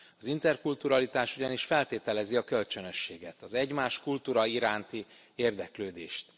Az interkulturalitás ugyanis feltételezi a kölcsönösséget, az egymás kultúrája iránti érdeklődést.